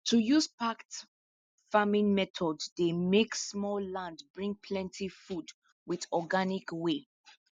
to use packed farming method dey make small land bring plenty food with organic way